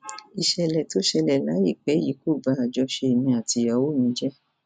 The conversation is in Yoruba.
ìṣẹlẹ tó ṣẹlẹ láìpẹ yìí kò ba àjọṣe èmi àtìyàwó mi jẹ o